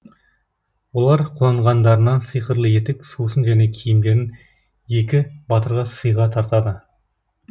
олар қуанғандарынан сиқырлы етік сусын және киімдерін екі батырға сыйға тартады